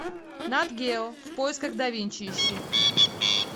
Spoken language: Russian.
нат гео в поисках да винчи ищи